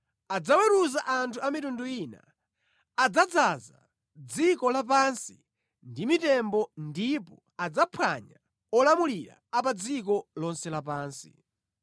Adzaweruza anthu a mitundu ina, adzadzaza dziko lapansi ndi mitembo ndipo adzaphwanya olamulira a pa dziko lonse lapansi.